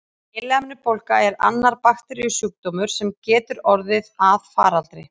Heilahimnubólga er annar bakteríusjúkdómur, sem getur orðið að faraldri.